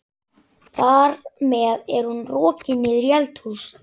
Þar með er hún rokin niður í eldhús.